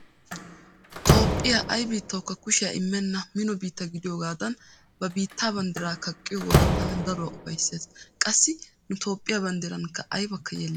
Toophphiya ay biittaawukka kushiya immenna mino biitta gidiyogaadan ba biittaa banddira kaqqiyo wode tana daruwa ufayssees. Qassi nu toophphiya banddirankka aybakka yeellatikke.